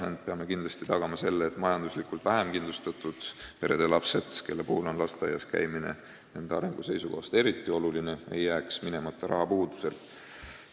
Ainult et peame kindlasti tagama selle, et majanduslikult vähem kindlustatud perede lastel, kelle lasteaias käimine on nende arengu seisukohast eriti oluline, ei jääks sinna rahapuudusel minemata.